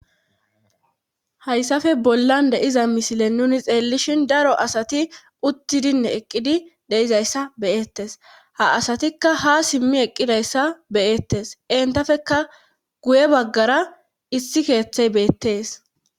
hayssafe bollan deiza misile nuni xeellishin daro asati uttidinne eqqidi deizayssa beyettes ha asatikka ha simmi eqqidayssa beyettes entafeka guye baggara issi keeththey beettees